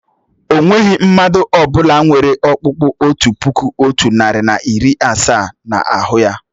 Ọ nweghị mmadụ ọ bụla nwere ọ̀kpụ́kpu otu puku, otu narị na iri asaa n'ahu ya.